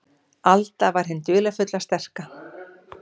Alda var hin dularfulla, sterka.